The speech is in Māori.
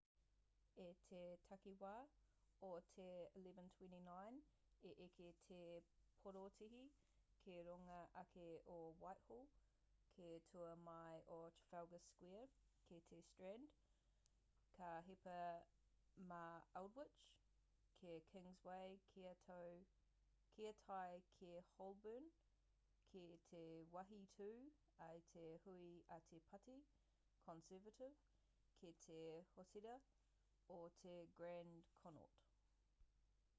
i te takiwā o te 11:29 i eke te porotēhi ki runga ake o whitehall ki tua mai o trafalgar square ki te strand ka hipa mā aldwych ki kingsway kia tae ki holborn ki te wāhi tū ai te hui a te pāti conservative ki te hōtēra o te grand connaught